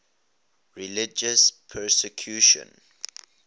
religious persecution